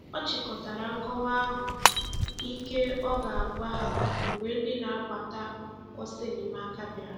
Ọ chịkọtara nkọwa ahụ ike ọ ga - agwa ha mgbe ndị na - agbata ọsọ enyemaka bịara